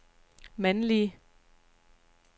mandlige